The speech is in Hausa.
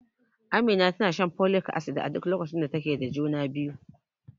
Amina tana shan folik acid a duk lokacin da take da juna biyu.